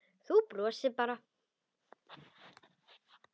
Þú brosir bara!